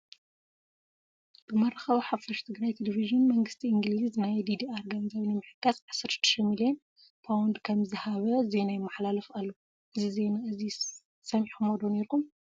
ብመራኸቢ ሓፋሽ ትግራይ ቴሌቪዥን መንግስቲ አንግሊዝ ናይ ዲዲኣር ገንዘብ ንምሕጋዝ 16 ሚልዮ ፓ ከምዝሃበ ዜና ይማሓላልፍ ኣሎ፡፡ እዚ ዜና እዚ ሰሚዕኹምዎ ዶ ነይሩኩም?